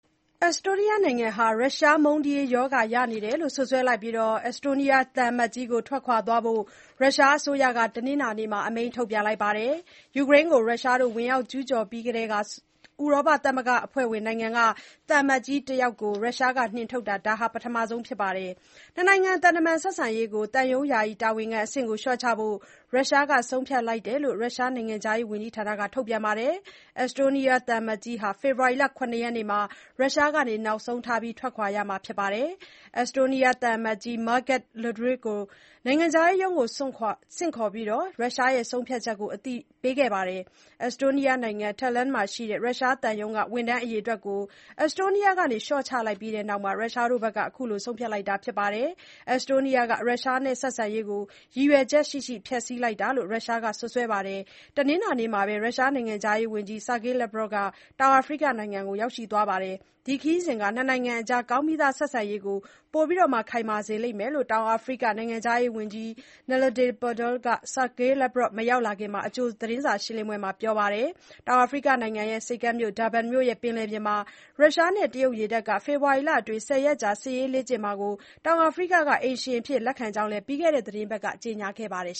အက်စတိုးနီးယားနိုင်ငံဟာ ရုရှားမုန်းတီးရေး ရောဂါရနေတယ်လို့ စွပ်စွဲလိုက်ပြီး၊ အက်စတိုးနီးယားသံအမတ်ကြီးကို ထွက်သွားဖို့ ရုရှားအစိုးရက တနင်္လာနေ့မှာ အမိန့်ထုတ်လိုက်ပါတယ်။ ယူကရိန်းကို ဝင်ရောက်ကျူးကျော်ပြီးကတည်းက ဥရောပသမဂ္ဂအဖွဲ့ဝင် နိုင်ငံက သံအမတ်ကြီးတစ်ယောက်ကို ရုရှားက နှင်ထုတ်တာ ဒါဟာ ပထမဆုံး အကြိမ် ဖြစ်ပါတယ်။ နှစ်နိုင်ငံ သံတမန် ဆက်ဆံရေးကို သံရုံး ယာယီတာဝန်ခံအဆင့်ကို လျှော့ချဖို့ ရုရှားဘက်က ဆုံးဖြတ်လိုက်တယ်လို့ ရုရှား နိုင်ငံခြားရေး ဝန်ကြီးဌာနရဲ့ ထုတ်ပြန်ချက်က ဆိုပါတယ်။ အက်စတိုးနီးယားသံအမတ်ကြီးဟာ ဖေဖော်ဝါရီလ ၇ ရက်နေ့မှာ နောက်ဆုံးထား ထွက်ရမှာ ဖြစ်တယ်လို့ ရုရှား နိုင်ငံခြားရေး ဝန်ကြီးဌာနက ပြောပါတယ်။ အက်စတိုးနီးယား သံအမတ်ကြီး Margus Laidre ကို နိုင်ငံခြားရေးရုံးကို ဆင့်ခေါ်ပြီး ရုရှားရဲ့ ဆုံးဖြတ်ချက်ကို အသိပေးခဲ့တယ်လို့ ထုတ်ပြန်ချက်ထဲမှာ ဆိုပါတယ်။ အက်စ်တိုးနီးယား မြို့တော် တာလန် (Tallinn) မှာရှိတဲ့ ရုရှား သံရုံးက ဝန်ထမ်းအရေအတွက်ကို အက်တိုးနီးယားက လျှော့ချလိုက်ပြီးတဲ့နောက် ရုရှားဘက်က အခုလို ဆုံးဖြတ်လိုက်တာ ဖြစ်ပါတယ်။ အက်စ်တိုးနီးယားဟာ ရုရှားနဲ့ ဆက်ဆံရေးကို ရည်ရွယ်ချက်ရှိရှိ ဖျက်ဆီးလိုက်တာ ဖြစ်တယ်လို့ ရုရှားက စွပ်စွဲလိုက်ပါတယ်။ တနင်္လာနေ့မှာပဲ ရုရှားနိုင်ငံခြားရေးဝန်ကြီး ဆာဂေးလက်ဗရော့ဗ် (Sergei Lavrov) ဟာ တောင်အာဖရိက နိုင်ငံကို ရောက်ရှိသွားပါတယ်။ ဒီ ခရီးစဉ်ဟာ နှစ်နိုင်ငံအကြား ကောင်းပြီးသား ဆက်ဆံရေးကို ပိုခိုင်မာစေလိမ့်မယ်လို့ တောင်အာဖရိက နိုင်ငံခြားရေးဝန်ကြီး နလေဒီ ပန်ဒေါ (Naledi Pandor) က ဆာဂေးလက်ဗရော့ဗ် ရောက်မလာမီ အကြိုသတင်းစာရှင်းလင်းပွဲမှာ ပြောပါတယ်။ တောင်အာဖရိကနိုင်ငံ ဆိပ်ကမ်းမြို့ ဒါဘန် (Durban) မြို့ ရဲ့ ပင်လယ်ပြင်မှာ ရုရှားနဲ့ တရုတ် ရေတပ်က ဖေဖော်ဝါရီလအတွင်း ဆယ်ရက်ကြာ စစ်ရေးလေ့ကျင့်ကြမှာကို တောင်အာဖရိက က အိမ်ရှင် အဖြစ်လက်ခံလိုက်ကြောင်း ပြီးခဲ့တဲ့ အပတ်က ကြေညာခဲ့ပါတယ်